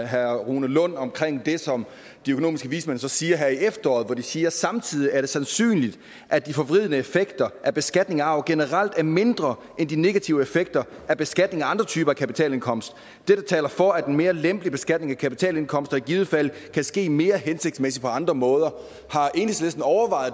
herre rune lund om det som de økonomiske vismænd så siger her i efteråret hvor de siger samtidig er det sandsynligt at de forvridende effekter af beskatning af arv generelt er mindre end de negative effekter af beskatning af andre typer kapitalindkomst dette taler for at en mere lempelig beskatning af kapitalindkomster i givet fald kan ske mere hensigtsmæssigt på andre måder